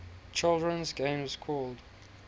children's game called